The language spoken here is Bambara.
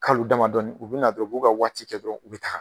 Kalo damadɔni u bɛna dɔrɔn u b'u ka waati kɛ dɔrɔn u bɛ taa